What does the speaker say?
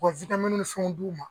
K'u ka ni fɛnw d'u ma